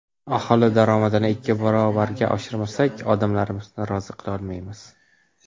Aholi daromadini ikki barobarga oshirmasak, odamlarimizni rozi qila olmaymiz.